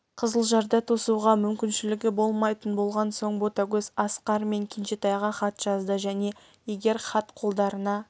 қызылжарда тосуға мүмкіншілігі болмайтын болған соң ботагөз асқар мен кенжетайға хат жазды және егер хат қолдарыңа